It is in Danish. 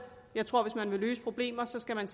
jeg tror at hvis man vil løse problemer skal man